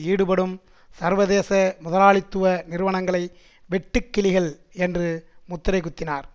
ஈடுபடும் சர்வதேச முதலாளித்துவ நிறுவனங்களை வெட்டுக்கிளிகள் என்று முத்திரை குத்தினார்